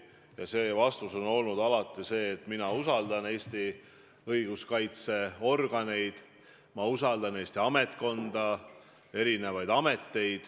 Ja see vastus on olnud alati see, et mina usaldan Eesti õiguskaitseorganeid, ma usaldan Eesti ametnikkonda, erinevaid ameteid.